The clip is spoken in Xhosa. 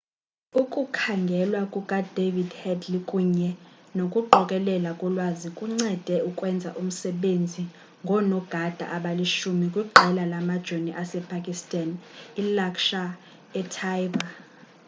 ukukhangelwa kukadavid headley kunye nokuqokelelwa kolwazi kuncede ukwenza umsebenzi ngoonogada abali-10 kwiqela lamajoni asepakistan ilaskhar-e-taiba